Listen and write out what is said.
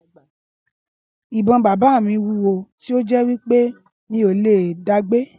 ìbon bàbá mí wúwo tí o jé wípé mí o lẹ daagbé